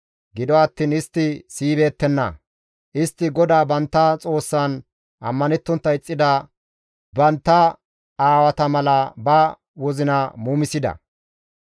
Gido attiin istti siyibeettenna; istti GODAA bantta Xoossan ammanettontta ixxida bantta aawata mala ba wozina muumisida.